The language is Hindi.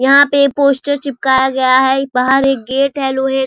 यहां पे पोस्टर चिपकाया गया है इ बाहर एक गेट है लोहे --